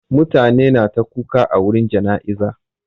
Mutane na ta kuka a wurin jana'izar.